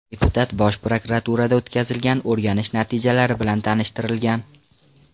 Deputat Bosh prokuraturada o‘tkazilgan o‘rganish natijalari bilan tanishtirilgan.